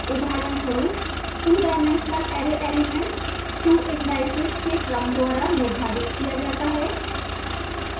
उदाहरणस्वरूप two dimensional array element 2 indices के क्रम द्वारा निर्धारित किया जाता है